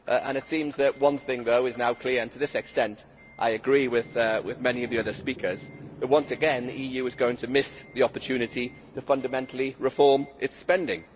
It seems that one thing is now clear and to this extent I agree with many of the other speakers once again the EU is going to miss the opportunity to fundamentally reform its spending.